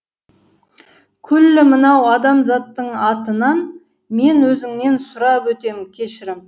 күллі мынау адамзаттың атынан мен өзіңнен сұрап өтем кешірім